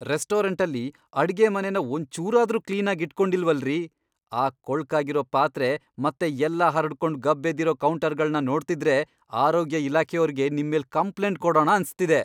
ರೆಸ್ಟೋರೆಂಟಲ್ಲಿ ಅಡ್ಗೆಮನೆನ ಒಂಚೂರಾದ್ರೂ ಕ್ಲೀನಾಗ್ ಇಟ್ಕೊಂಡಿಲ್ವಲ್ರೀ! ಆ ಕೊಳ್ಕಾಗಿರೋ ಪಾತ್ರೆ ಮತ್ತೆ ಎಲ್ಲ ಹರಡ್ಕೊಂಡು ಗಬ್ಬೆದ್ದಿರೋ ಕೌಂಟರ್ಗಳ್ನ ನೋಡ್ತಿದ್ರೆ ಆರೋಗ್ಯ ಇಲಾಖೆಯೋರ್ಗೆ ನಿಮ್ಮೇಲ್ ಕಂಪ್ಲೇಂಟ್ ಕೊಡಣ ಅನ್ಸ್ತಿದೆ.